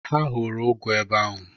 Ha hụrụ ụgụ ebe ahụ.